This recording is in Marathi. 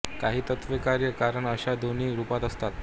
काही तत्त्वे कार्य व कारण अशा दोन्ही रुपात असतात